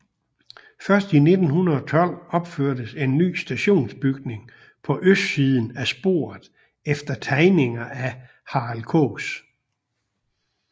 Først i 1912 opførtes en ny stationsbygning på østsiden af sporet efter tegninger af Harald Kaas